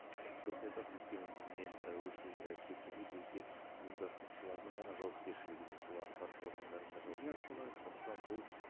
дұрыс айтасыз өйткені біз мен і өз сөзімде айтып кеткендей бұл тек ұйымдастырушылардың ғана жауапкершілігі емес бұл атқарушы органдардың да жауапкершілігі сондықтан бұл